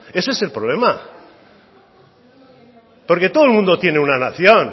ese es el problema porque todo el mundo tiene una nación